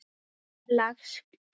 Hvers lags kemur í ljós.